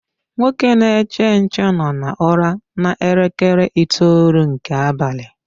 Nwoke na-eche nche no na ụra na elekere itoolu nke abalị